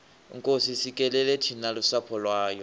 nkosi sikelela thina lusapho lwayo